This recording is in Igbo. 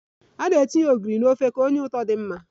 A na-etinye ogiri n'ofe ka o nye ụtọ di mma